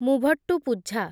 Muvattupuzha